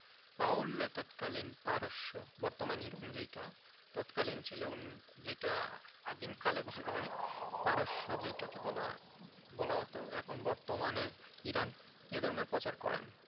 তৎকালীন পারস্য বর্তমান ইরান যেটা তৎকালীন ছিল যেটা আদিমকালে বলা হয় পারস্য যেটাকে বলা হয় বলা হত এখন বর্তমানে ইরান এ ধর্মের প্রচার করেন.